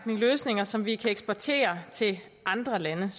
løsninger som vi kan eksportere til andre lande